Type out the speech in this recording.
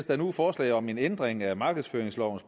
der nu forslag om en ændring af markedsføringslovens